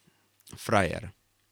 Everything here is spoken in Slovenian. Frajer.